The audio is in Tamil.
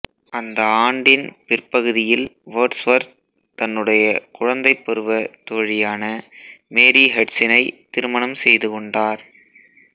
அந்த ஆண்டின் பிற்பகுதியில் வேர்ட்ஸ்வொர்த் தன்னுடைய குழந்தைப்பருவ தோழியான மேரி ஹட்சின்சனை திருமணம் செய்துகொண்டார்